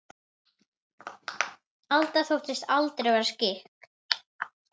Alda þóttist aldrei vera skyggn.